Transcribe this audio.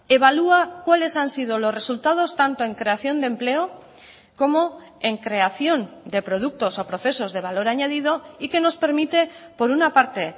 evalúa cuales han sido los resultados tanto en creación de empleo como en creación de productos o procesos de valor añadido y que nos permite por una parte